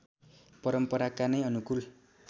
परम्पराका नै अनुकूल